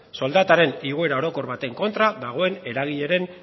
soldataren igoera orokor baten kontra dagoen eragilearen